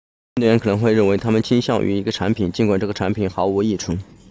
运动员可能会认为他们倾向于一个产品尽管这个产品毫无益处